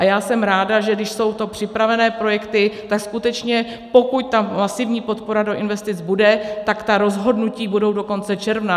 A já jsem ráda, že když jsou to připravené projekty, tak skutečně pokud ta masivní podpora do investic bude, tak ta rozhodnutí budou do konce června.